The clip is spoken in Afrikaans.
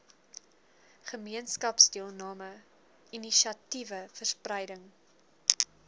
gemeenskapsdeelname inisiatiewe verspreiding